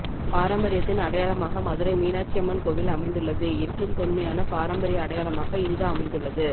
பாரம்பரியத்தின் அடையாளமாக மதுரை மீனாட்சி அம்மன் கோவில் அமைந்துள்ளது என்றும்தொன்மையான பாரம்பரிய அடையாளமாக இங்கு அமைந்துள்ளது